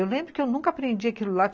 Eu lembro que eu nunca aprendi aquilo lá.